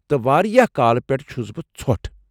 تہ، واریاہ کالہٕ پٮ۪ٹھٕہ چُھس بہٕ ژھۄٹھ ۔